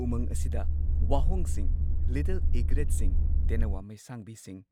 ꯎꯃꯪ ꯑꯁꯤꯗ ꯋꯥꯍꯣꯡꯁꯤꯡ, ꯂꯤꯇꯜ ꯏꯒ꯭ꯔꯦꯠꯁꯤꯡ, ꯇꯦꯅꯋꯥ ꯃꯩꯁꯥꯡꯕꯤꯁꯤꯡ